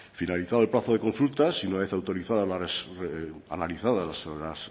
finalizado el plazo de consultas y una vez analizadas las